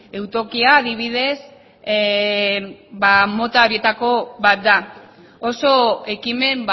eutokia adibidez mota horietako bat da oso ekimen